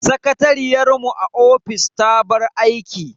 Sakatariyar mu a ofis ta bar aiki.